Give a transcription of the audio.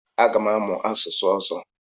Aga m amụ asụsụ ọzọ.